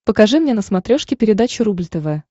покажи мне на смотрешке передачу рубль тв